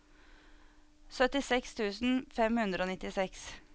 syttiseks tusen fem hundre og nittiseks